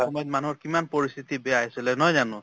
সময়ত মানুহৰ কিমান পৰিস্থিতি বেয়া আছিলে নহয় জানো?